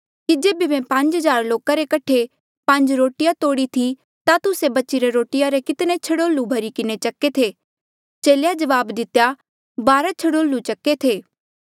कि जेबे मैं पांज हज़ार लोका रे कठे पांज रोटिया तोड़ी थी ता तुस्से बचीरे रोटिया रे कितने छड़ोल्लू भरी किन्हें चके थे चेले जवाब दितेया बारा छड़ोल्लू चक्के थे